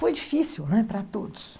Foi difícil, né, para todos.